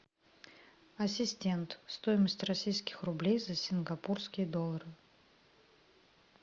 ассистент стоимость российских рублей за сингапурские доллары